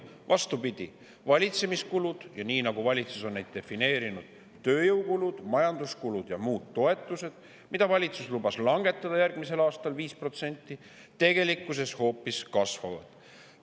Vastupidi, valitsemiskulud – nii nagu valitsus on neid defineerinud: tööjõukulud, majanduskulud ja muud –, mida valitsus lubas langetada järgmisel aastal 5%, tegelikkuses hoopis kasvavad.